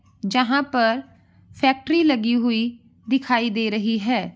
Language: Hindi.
जहाँ पर फैक्ट्री लगी हुई दिखाई दे रही है।